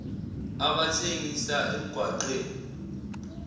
abathengisa emgwaqw eni